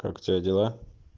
как у тебя дела